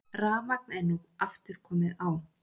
Rafmagn er nú aftur komið á